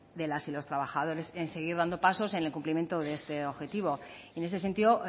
de las y los trabajadores en seguir dando pasos en el cumplimiento de este objetivo en ese sentido